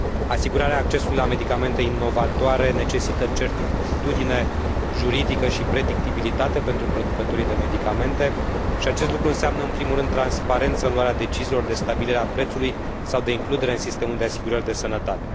Asigurarea accesului la medicamente inovatoare necesită certitudine juridică și predictibilitate pentru producătorii de medicamente și acest lucru înseamnă, în primul rând, transparență în luarea deciziilor de stabilire a prețului sau de includere în sistemul de asigurări de sănătate.